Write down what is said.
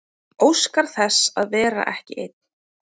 Óskar þess að vera ekki ein.